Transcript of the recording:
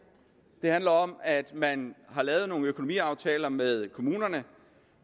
det handler om at man har lavet nogle økonomiaftaler med kommunerne